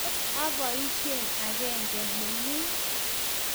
Tos aboishe agenge ne ngung?